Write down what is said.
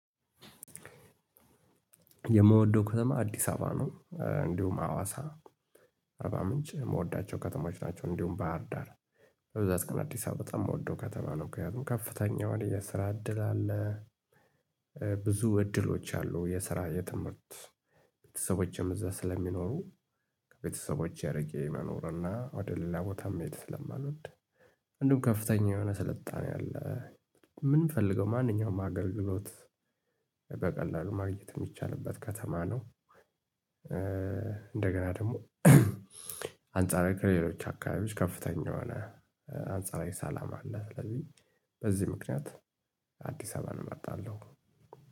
የምወደው ከተማ አዲስ አበባ ነው እንዲሁም ሀዋሳ አርባ ምንጭ የምወዳቸው ከተሞች ናቸው እንዲሁም ባህር ዳር። በብዛት ግን አዲስ አበባ በጣም የምወደው ከተማ ነው። ምክንያቱም ከፍተኛ የሆነ የስራ እድል አለ። ብዙ እድሎች አሉ የስራ የትምህርት ቤተሰቦቼም እዚያ ስለሚኖሩ። ከቤተሰቦቼ ርቄ መኖር እና ወደ ሌላ ቦታ መሄድ ስለማልወድ። እንዲሁም ከፍተኛ የሆነ ስልጣኔ አለ የምንፈልገው ማንኛውም አገልግሎት በቀላሉ ማግኘት የሚቻልበት ከተማ ነው። እንደገና ደግሞ አንጻራዊ ከሌሎች አካባቢዎች ከፍተኛ የሆነ አንጻራዊ ሰላም አለ። ስለዚህ በዚህ ምክንያት አዲስ አበባን እመርጣለሁ።